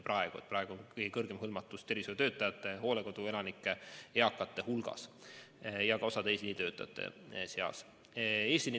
Praegu on kõige kõrgem hõlmatus tervishoiutöötajate, hooldekoduelanike ja teiste eakate hulgas, samuti eesliinitöötajate seas.